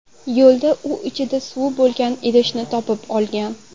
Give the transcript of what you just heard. Yo‘lda u ichida suvi bo‘lgan idishni topib olgan.